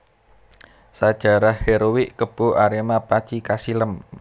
Sajarah heroik Kebo Arema panci kasilem